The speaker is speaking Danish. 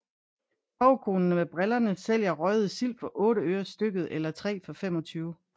Torvekonen med brillerne sælger røgede sild for 8 øre stykket eller 3 for 25